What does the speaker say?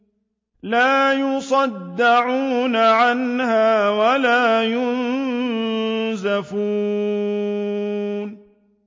لَّا يُصَدَّعُونَ عَنْهَا وَلَا يُنزِفُونَ